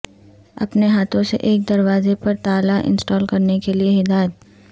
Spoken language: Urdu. اپنے ہاتھوں سے ایک دروازے پر تالا انسٹال کرنے کے لئے ہدایات